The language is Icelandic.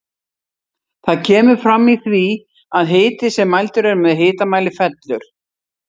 Það kemur fram í því að hiti sem mældur er með hitamæli fellur.